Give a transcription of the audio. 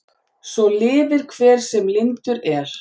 Svo lifir hver sem lyndur er.